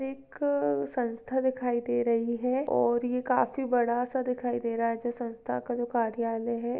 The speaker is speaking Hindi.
क संस्था दिखाई दे रही है और ये काफी बड़ा सा दिखाई दे रहा है। जो संस्था का जो कार्यालय है।